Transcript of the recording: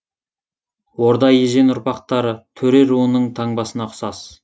орда ежен ұрпақтары төре руының таңбасына ұқсас